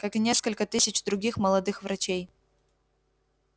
как и несколько тысяч других молодых врачей